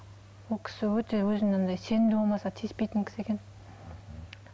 ол кісі өте өзін андай сенімді болмаса тиіспейтін кісі екен